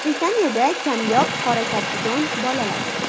Britaniyada kamyob qora karkidon bolaladi.